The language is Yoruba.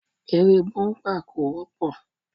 Eré búḿpà kò wọ́pọ̀